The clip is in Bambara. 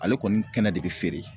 Ale kɔni kɛnɛ de be feere